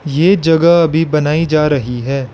ये जगह अभी बनाई जा रही है।